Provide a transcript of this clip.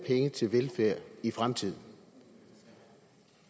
penge til velfærd i fremtiden